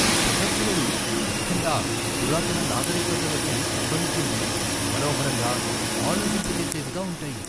ఈ ప్రదర్శనలు, ముఖ్యంగా పురాతన నాగరికతలకు సంబంధించినవి, మనోహరంగా, ఆలోచింపజేసేవిగా ఉంటాయి.